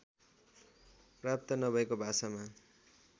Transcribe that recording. प्राप्त नभएको भाषामा